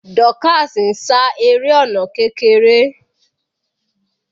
Dorcas ń sá eré ọ̀nà kékeré.